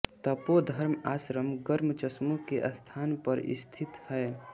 तपोधर्म आश्रम गर्म चश्मों के स्थान पर स्थित है